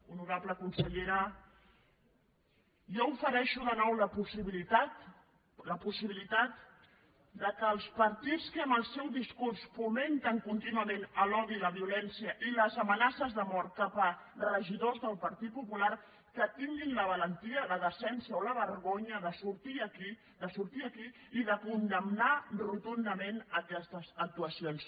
honorable consellera jo ofereixo de nou la possibilitat que els partits que amb el seu discurs fomenten contínuament l’odi i la violència i les amenaces de mort cap a regidors del partit popular que tinguin la valentia la decència o la vergonya de sortir aquí i de condemnar rotundament aquestes actuacions